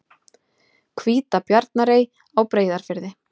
Hvítabjarnarey á Breiðafirði.